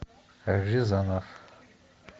рязанов